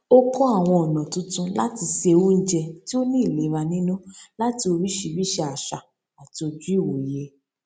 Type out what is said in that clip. ó kọ àwọn ọnà tuntun láti se oúnjẹ tí ó ní ìlera nínú láti oríṣiríṣi àṣà àti ojú ìwòye